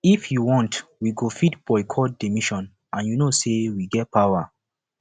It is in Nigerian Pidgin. if you want we go fit boycott the mission and you know say we get power